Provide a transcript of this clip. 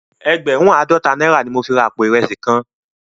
Ègbèrùn àádòtá nàirá ni mó fi rá àpó irèsí kán làná